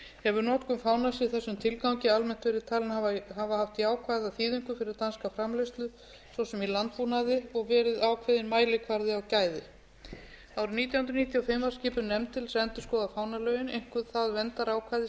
hefur notkun fánans í þessum tilgangi almennt verið talin hafa haft jákvæða þýðingu fyrir danska framleiðslu svo sem í landbúnaði og verið ákveðinn mælikvarði á gæði árið nítján hundruð níutíu og fimm var skipuð nefnd til þess að endurskoða fánalögin einkum það verndarákvæði sem